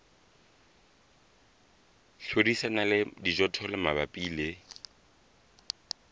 hlodisana le dijothollo mabapi le